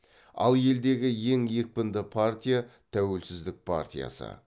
ал елдегі ең екпінді партия тәуелсіздік партиясы